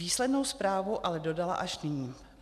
Výslednou zprávu ale dodala až nyní.